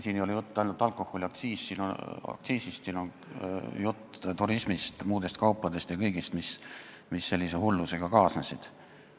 Siin ei ole jutt ainult alkoholiaktsiisist, siin on jutt turismist, muudest kaupadest ja kõigest, mis selle hullusega kaasnesid.